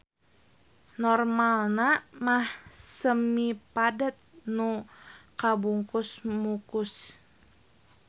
Normalna mah semipadet nu kabungkus mukus.